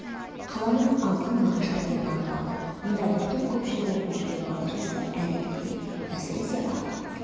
қаланың алқын мағаштар енді аңғарды мұнда бір топ көпшілік оқып жүрген бала жастар әредікте әсіресе ақ